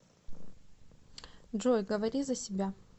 джой говори за себя